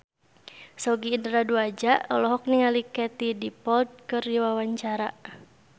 Sogi Indra Duaja olohok ningali Katie Dippold keur diwawancara